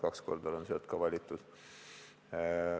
Kaks korda olen sealt ka valituks osutunud.